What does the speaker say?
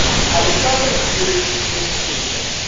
александр юрьевич моисейкин